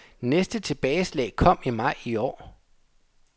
Næste tilbageslag kom i maj i år.